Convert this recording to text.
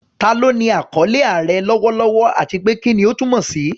Ta ló ní àkọlé "Aare" lọ́wọ́lọ́wọ́, àti pé kí ni ó túmọ̀ sí?